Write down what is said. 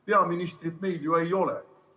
Peaministrit meil ju ei ole.